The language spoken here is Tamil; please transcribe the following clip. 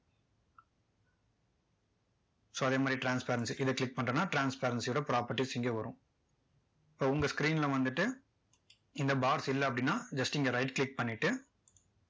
so அதே மாதிரி transparency இதை click பண்ணிட்டோம்னா transparency ஓட properties இங்க வரும் so உங்க screen ல வந்துட்டு இந்த box இல்ல அப்படின்னா just இங்க right click பண்ணிட்டு